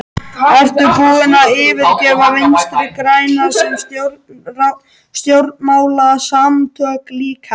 Ertu búinn að yfirgefa Vinstri-græna sem stjórnmálasamtök líka?